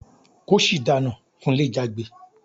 "Kóṣì dànú!" Kunle jágbe.